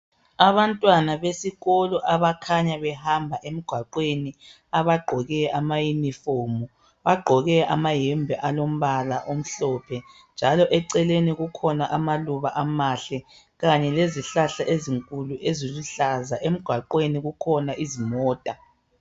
Abantwana besikolo abakhanya behamba emgwaqweni abagqoke amaYunifomu, bagqoke amayembe alompala omhlophe njalo eceleni kukhona amaluba amahle kanye lezihlahla ezinkulu eziluhlaza emgwaqweni kukhona izimota.